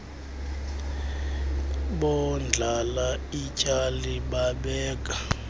bondlala ityali babeka